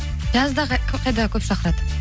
жазда қайда көп шақырады